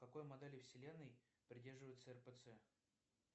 какой модели вселенной придерживается рпц